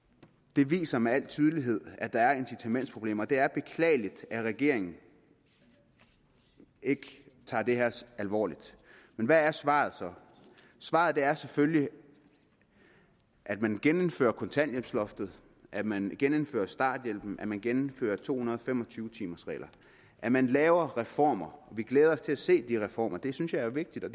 det viser med al tydelighed at der er incitamentsproblemer det er beklageligt at regeringen ikke tager det her alvorligt men hvad er svaret så svaret er selvfølgelig at man genindfører kontanthjælpsloftet at man genindfører starthjælpen at man genindfører to hundrede og fem og tyve timers reglen at man laver reformer vi glæder os til at se de reformer jeg synes det er vigtigt og